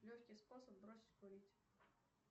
легкий способ бросить курить